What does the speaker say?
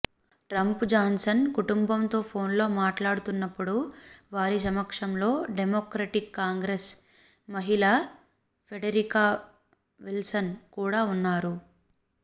Trump Johnson కుటుంబంతో ఫోనులో మాట్లాడుతున్నప్పుడు వారి సమక్షంలో డెమోక్రటిక్ కాంగ్రెస్ మహిళ ఫ్రెడెరికా విల్సన్ కూడా ఉన్నారు